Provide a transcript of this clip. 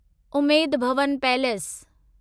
Umaid Bhawan palace